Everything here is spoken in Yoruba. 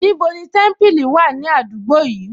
Níbo ni Témípìlì wà ní àdúgbò yìí